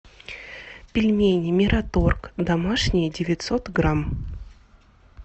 пельмени мираторг домашние девятьсот грамм